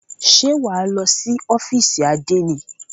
Ṣé wà á lọ sí ófìsì àdénì?